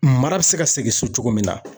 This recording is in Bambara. Mara bɛ se ka segin so cogo min na